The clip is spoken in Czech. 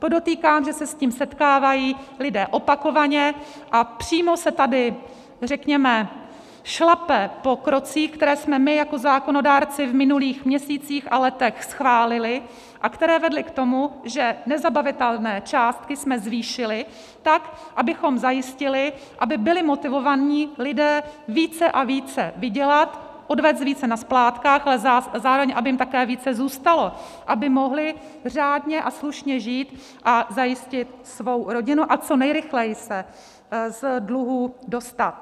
Podotýkám, že se s tím setkávají lidé opakovaně a přímo se tady, řekněme, šlape po krocích, které jsme my jako zákonodárci v minulých měsících a letech schválili a které vedly k tomu, že nezabavitelné částky jsme zvýšili tak, abychom zajistili, aby byli motivováni lidé více a více vydělat, odvést více na splátkách, ale zároveň aby jim také více zůstalo, aby mohli řádně a slušně žít a zajistit svou rodinu a co nejrychleji se z dluhů dostat.